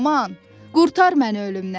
Aman, qurtar məni ölümdən!